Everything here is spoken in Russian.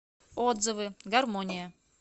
отзывы гармония